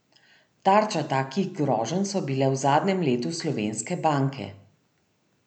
Tarča takih groženj so bile v zadnjem letu slovenske banke.